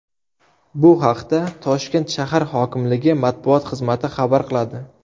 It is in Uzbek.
Bu haqda Toshkent shahar hokimligi matbuot xizmati xabar qiladi .